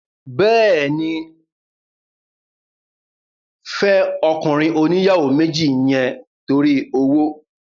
Bẹ́ẹ̀ni, fẹ́ ọkùnrin oníyàwó méjì yẹn torí owó